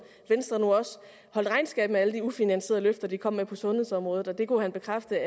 venstre nu også holdt regnskab med alle de ufinansierede løfter de kom med på sundhedsområdet det kunne han bekræfte